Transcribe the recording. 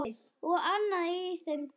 Og annað í þeim dúr.